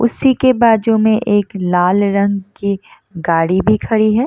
उसी के बाजु में एक लाल रंग की गाड़ी भी खड़ी है।